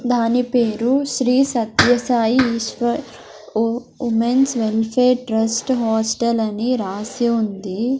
దాని పేరు శ్రీ సత్య సాయి ఈశ్వర్ ఓ women's welfare trust hostel అని రాసి ఉంది.